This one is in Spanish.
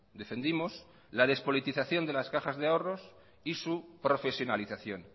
defendimos la despolitización de las cajas de ahorros y su profesionalización